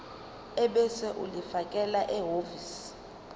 ebese ulifakela ehhovisi